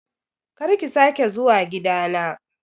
Kar ki sake zuwa gida na